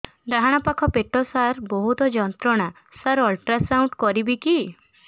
ଡାହାଣ ପାଖ ପେଟ ସାର ବହୁତ ଯନ୍ତ୍ରଣା ସାର ଅଲଟ୍ରାସାଉଣ୍ଡ କରିବି କି